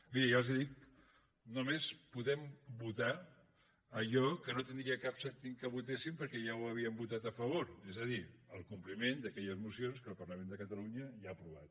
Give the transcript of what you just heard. bé ja els ho dic només podem votar allò que no tindria cap sentit que votéssim perquè ja ho havíem votat a favor és a dir el compliment d’aquelles mocions que el parlament de catalunya ja ha aprovat